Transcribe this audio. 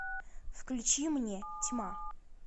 включи мне тьма